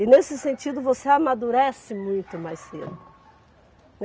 E nesse sentido você amadurece muito mais cedo, né.